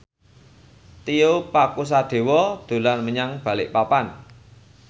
Tio Pakusadewo dolan menyang Balikpapan